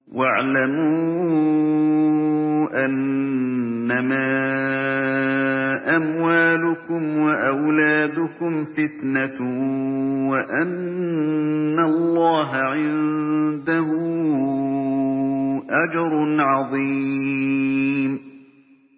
وَاعْلَمُوا أَنَّمَا أَمْوَالُكُمْ وَأَوْلَادُكُمْ فِتْنَةٌ وَأَنَّ اللَّهَ عِندَهُ أَجْرٌ عَظِيمٌ